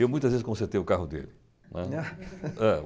Eu, muitas vezes, consertei o carro dele, né.